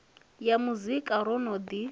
ya muzika ro no ḓi